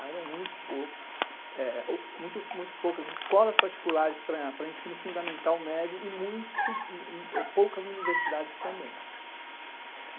eram muito poucas escolas particulares para ensino fundamental médio e muito poucas universidades também.